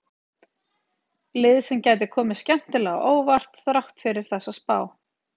Lið sem gæti komið skemmtilega á óvart þrátt fyrir þessa spá.